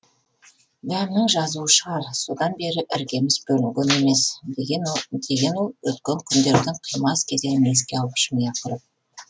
дәмнің жазуы шығар содан бері іргеміз бөлінген емес деген ол өткен күндердің қимас кезеңін еске алып жымиып күл жымия күліп